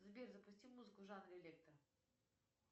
сбер запусти музыку в жанре электро